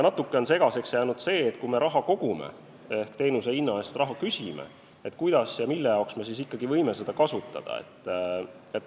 Natuke on segaseks jäänud see, et kui me raha kogume ehk teenuse eest raha küsime, siis kuidas ja mille jaoks me ikkagi võime seda kasutada.